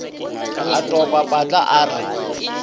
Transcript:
a topa patla a re